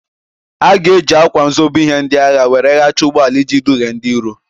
A ga-eji ákwà nzobe ihe ndị agha were ghachie ụgbọala iji dughie ndị iro.